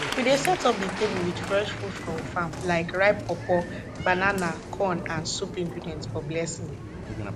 we dey set up di table wit fresh food from farm like ripe pawpaw banana corn and soup ingredients for blessing